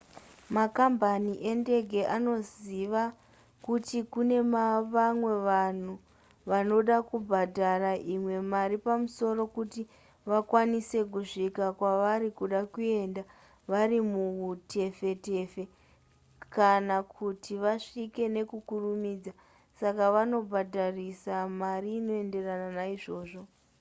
makambani endege anoziva kuti kune vamwe vanhu vanoda kubhadhara imwe mari pamusoro kuti vakwanise kusvika kwavari kuda kuenda vari muhutefetefe kana kuti vasvike nekukurumidza saka vanobhadharisa mari inoenderana naizvozvo